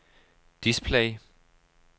display